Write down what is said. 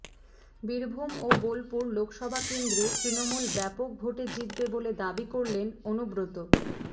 বীরভূম ও বোলপুর লোকসভা কেন্দ্রে তৃণমূল ব্যাপক ভোটে জিতবে বলে দাবি করেন অনুব্রত